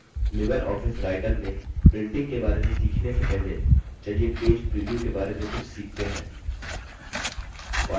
Libre Office writer में printing के बारे में सीखने से पहले चलिए page preview के बारे में कुछ सीखते हैं